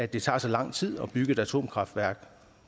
det tager så lang tid at bygge et atomkraftværk